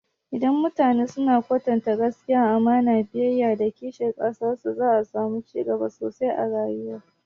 Idan mutane suna kwatanta gaskiya, amana, biyayya, da kishin ƙasar su, za'a samu cigaba sosai a rayuwa.